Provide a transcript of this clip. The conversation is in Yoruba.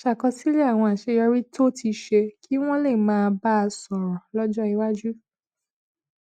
ṣàkọsílè àwọn àṣeyọrí tó ti ṣe kí wón lè máa bá a sòrò lójó iwájú